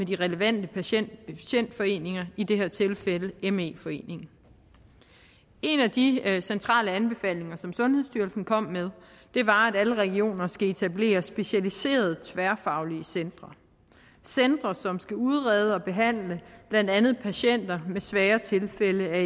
de relevante patientforeninger i det her tilfælde me foreningen en af de centrale anbefalinger som sundhedsstyrelsen kom med var at alle regioner skal etablere specialiserede tværfaglige centre som skal udrede og behandle blandt andet patienter med svære tilfælde